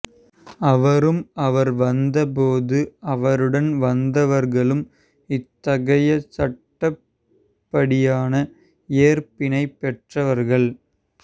அவரும் அவர் வந்த போது அவருடன் வந்தவர்களும் இத்தகைய சட்டப்படியான ஏற்பினைப் பெற்றவர்கள்